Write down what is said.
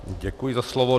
Děkuji za slovo.